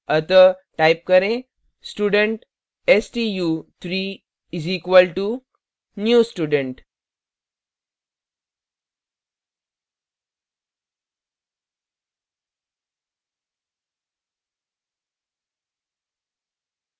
अतः type करें student stu3 is equal to new student